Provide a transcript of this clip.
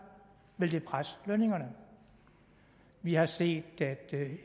vil det presse lønningerne vi har set